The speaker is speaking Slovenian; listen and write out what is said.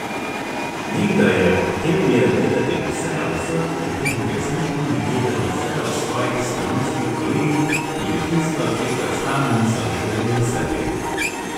Nekdaj je hotel je vedeti vse o vseh in tudi resnično je vedel vse o svojih stanovskih kolegih, tudi tisto, česar sami niso vedeli o sebi.